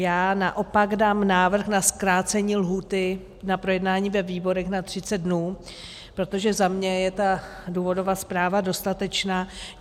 Já naopak dám návrh na zkrácení lhůty na projednání ve výborech na 30 dnů, protože za mě je ta důvodová zpráva dostatečná.